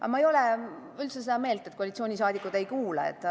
Aga ma ei ole üldse seda meelt, et koalitsioonisaadikud ei kuula.